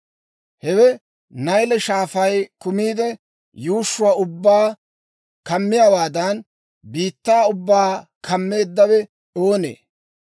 «Hewe Nayle Shaafay kumiide, yuushshuwaa ubbaa kumiyaawaadan, biittaa ubbaa kumeeddawe oonee?